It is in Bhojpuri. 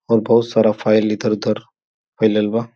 अउर बहुत सारा फाइल इधर-उधर फईलल बा।